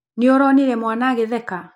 Nĩ ũronire mwana agĩtheka?